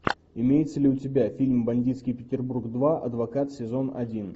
имеется ли у тебя фильм бандитский петербург два адвокат сезон один